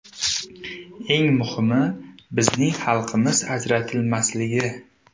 Eng muhimi, bizning xalqimiz ajratilmasligi.